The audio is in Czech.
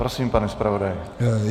Prosím, pane zpravodaji.